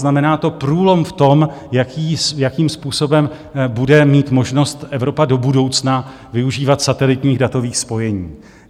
Znamená to průlom v tom, jakým způsobem bude mít možnost Evropa do budoucna využívat satelitních datových spojení.